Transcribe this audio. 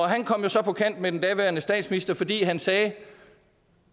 han kom så på kant med den daværende statsminister fordi han sagde